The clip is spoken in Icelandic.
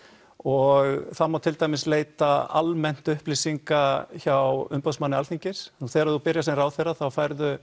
og það má til dæmis leita almennt upplýsinga hjá umboðsmanni Alþingis og þegar þú byrjar sem ráðherra þá færðu